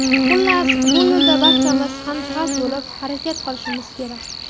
Xullas, bu yo‘lda barchamiz hamjihat bo‘lib harakat qilishimiz kerak.